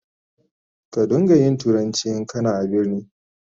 Ka don ga yin turanci in kana a birni.